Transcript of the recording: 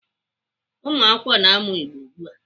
Ụmụakwụkwọ na-amụ Igbo ugbu a.